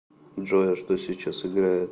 джой а что сейчас играет